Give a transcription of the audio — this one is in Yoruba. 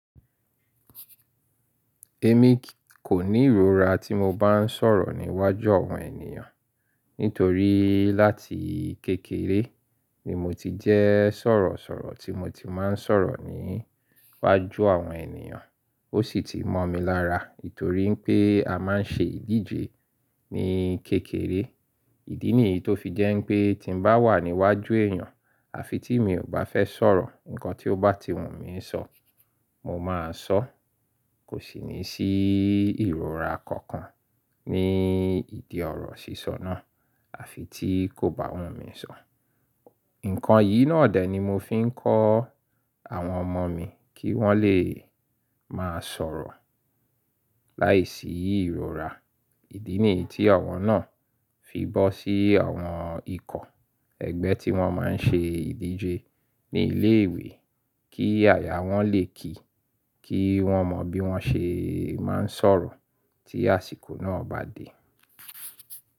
Èmi kò ní ìrora tí mo bá ń sọ̀rọ̀ níwájú àwọn ènìyàn, nítorí láti kékeré ni mo ti jẹ́ sọ̀rọ̀sọ̀rọ̀ tí mo ti máa ń sọ̀rọ̀ níwájú àwọn ènìyàn, ó sì ti mọ̀ mi lára. Nítorí pé a máa ń ṣe ìdíje ní kékeré. Ìdí nìyí tó fi jẹ́ pé tí mo bá wà níwájú èèyàn àfi tí mi ò bá fẹ́ sọ̀rọ̀, ǹkan tí ó bá ti wù mí sọ̀, mo máa sọ. Kò sì ní sí ìrora kankan ní ìdí ọ̀rọ̀ sísọ náà àfi tí kò bá wù mí sọ̀. Ǹkan yìí náà dè ni mo fi ń kọ́ àwọn ọmọ mi kí wọ́n lè máa sọ̀rọ̀ láìsí ìrora. Ìdí nìyí tí àwọn náà fi bọ́ sí àwọn ikọ̀ ẹgbẹ́ tí wọ́n máa ń ṣe ìdíje ní ilé ìwé kí àyà wọ́n lè kí i, kí wọ́n mọ bí wọ́n ṣe máa ń sọ̀rọ̀ tí àsìkò náà bá dé.